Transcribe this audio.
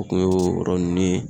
O kun y'o yɔrɔ nunnu ye.